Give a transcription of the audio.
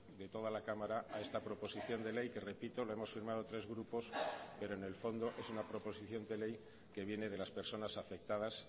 de toda la cámara a esta proposición de ley que repito lo hemos firmado tres grupos pero en el fondo es una proposición de ley que viene de las personas afectadas